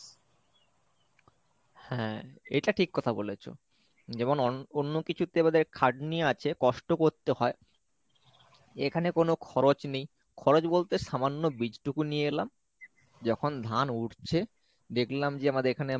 হ্যাঁ এটা ঠিক কথা বলেছো যেমন অন~ অন্য কিছুতে আমাদের খাটনি আছে কষ্ট করতে হয় এখানে কোনো খরচ নেই , খরচ বলতে সামান্য বীজটুকু নিয়ে এলাম যখন ধান উঠছে দেখলাম যে আমাদের এখানে